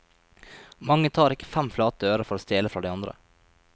Mange tar ikke fem flate øre for å stjele fra de andre.